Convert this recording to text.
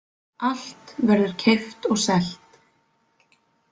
Allt verður keypt og selt.